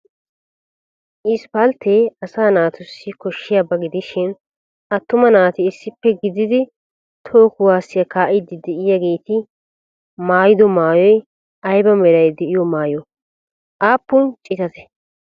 Isppalttee asaa naatussi koshiyaaba gidishin atuma naati issippe gididi toho kuwaasiya kaa'iidi de'iyageeti mmaydo maayoy ayba meray de'iyo maayoo? Aappun citatee?